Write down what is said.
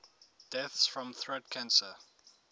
deaths from throat cancer